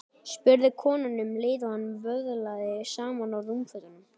spurði konan um leið og hún vöðlaði saman rúmfötunum.